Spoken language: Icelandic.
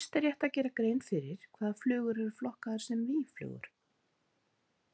Fyrst er rétt að gera grein fyrir hvaða flugur eru flokkaðar sem mýflugur.